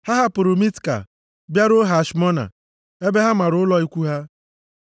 Ha hapụrụ Mitka bịaruo Hashmona ebe ha mara ụlọ ikwu ha.